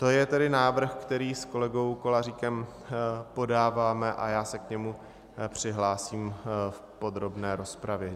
To je tedy návrh, který s kolegou Koláříkem podáváme, a já se k němu přihlásím v podrobné rozpravě.